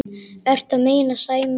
Ertu að meina Sæma?